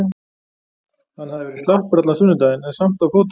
Hann hafði verið slappur allan sunnudaginn en samt á fótum.